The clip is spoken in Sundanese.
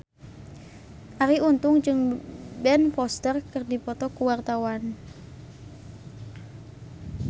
Arie Untung jeung Ben Foster keur dipoto ku wartawan